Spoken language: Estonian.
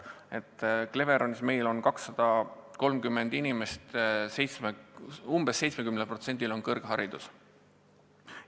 Cleveronis on meil 230 inimest, umbes 70%-l on kõrgharidus.